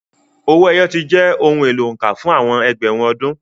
Owó ẹyọ ti jẹ́ ohun èlò òǹkà fún àwọn ẹgbẹ̀rún ọdún.